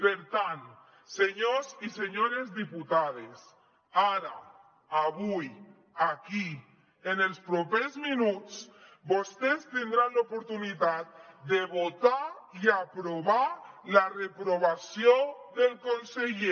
per tant senyors i senyores diputades ara avui aquí en els propers minuts vostès tindran l’oportunitat de votar i aprovar la reprovació del conseller